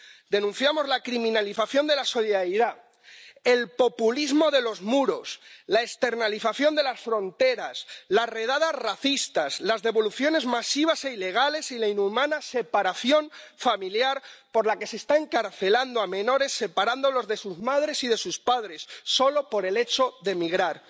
Denunciamos la criminalización de la solidaridad, el populismo de los muros, la externalización de las fronteras, las redadas racistas, las devoluciones masivas e ilegales y la inhumana separación familiar, por la que se está encarcelando a menores, separándolos de sus madres y de sus padres, solo por el hecho de emigrar.